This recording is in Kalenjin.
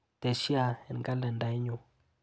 Tesya eng kalendaiyu.